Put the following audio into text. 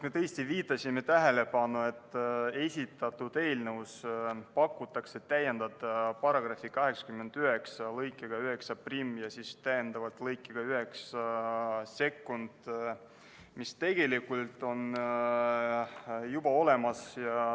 Me tõesti juhtisime tähelepanu sellele, et esitatud eelnõus palutakse täiendada § 89 lõikega 91 ja lõikega 92, mis tegelikult on juba olemas.